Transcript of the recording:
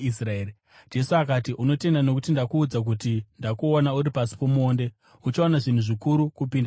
Jesu akati, “Unotenda nokuti ndakuudza kuti ndakuona uri pasi pomuonde. Uchaona zvinhu zvikuru kupinda izvozvo.”